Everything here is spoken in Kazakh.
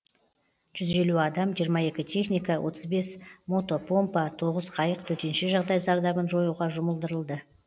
жүз елу адам жиырма екі техника отыз бес мотопомпа тоғыз қайық төтенше жағдай зардабын жоюға жұмылдырылды